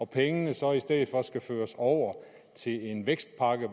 pengene så i stedet skal føres over til en vækstpakke